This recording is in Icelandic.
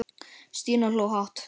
Stína hló hátt.